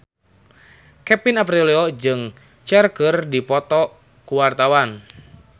Kevin Aprilio jeung Cher keur dipoto ku wartawan